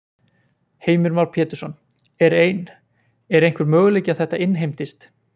Heimir Már Pétursson: Er ein, er einhver möguleiki að þetta innheimtist?